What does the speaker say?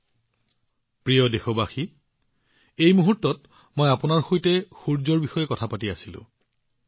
মোৰ মৰমৰ দেশবাসীসকল এইমাত্ৰ মই আপোনালোকৰ সৈতে সূৰ্যৰ বিষয়ে কথা পাতি আছিলো